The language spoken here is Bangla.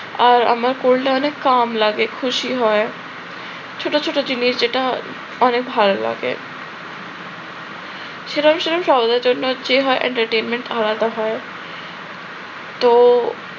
আর আমার cold টা অনেক calm লাগে খুশি হয় ছোট ছোট জিনিস যেটা অনেক ভালো লাগে। সেটা আমি অবশ্য জি হ্যাঁ entertainment হয় তো